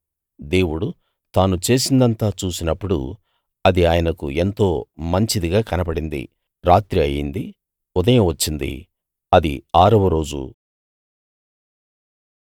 దేవుడు తాను చేసిందంతా చూసినప్పుడు అది ఆయనకు ఎంతో మంచిదిగా కనబడింది రాత్రి అయింది ఉదయం వచ్చిందిఆరవ రోజు